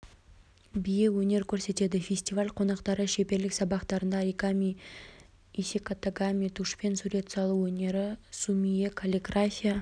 биі өнер көрсетеді фестиваль қонақтары шеберлік сабақтарында оригами исекатагами тушпен сурет салу өнері сумиэ каллиграфия